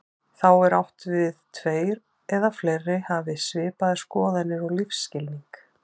Þá er átt við tveir eða fleiri hafi svipaðar skoðanir og lífsskilning.